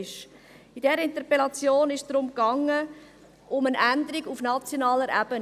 In dieser Interpellation ging es um eine Änderung auf nationaler Ebene.